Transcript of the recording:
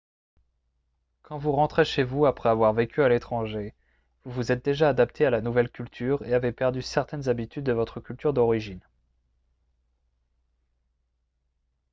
quand vous rentrez chez vous après avoir vécu à l'étranger vous vous êtes déjà adapté à la nouvelle culture et avez perdu certaines habitudes de votre culture d'origine